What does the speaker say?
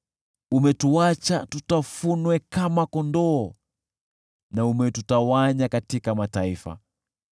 Umetuacha tutafunwe kama kondoo na umetutawanya katika mataifa.